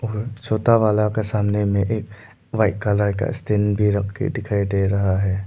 छोटा वाला का सामने में एक वाइट कलर का भी रखके दिखाई दे रहा है।